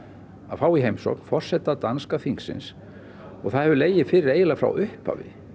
fá í heimsókn forseta danska þingsins og það hefur legið fyrir eiginlega frá upphafi